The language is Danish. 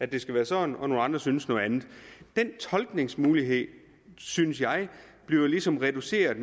det skal være sådan og nogle andre synes noget andet den tolkningsmulighed synes jeg bliver ligesom reduceret